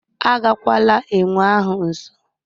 Agagwala enwe ahụ nso